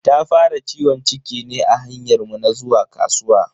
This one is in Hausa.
Ta fara ciwon ciki ne a hanyar mu na zuwa kasuwa.